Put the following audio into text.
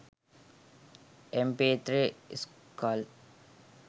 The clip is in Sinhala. mp3skull